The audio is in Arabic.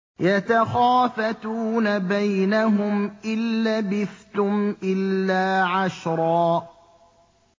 يَتَخَافَتُونَ بَيْنَهُمْ إِن لَّبِثْتُمْ إِلَّا عَشْرًا